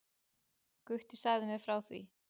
Gutti sagði mér frá því.